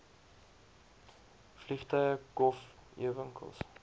vliegtuie kof ewinkels